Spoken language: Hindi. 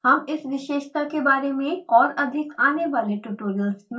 हम इस विशेषता के बारे में और अधिक आने वाले ट्यूटोरियल्स में सीखेगें